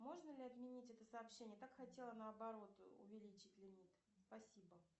можно ли отменить это сообщение так хотела наоборот увеличить лимит спасибо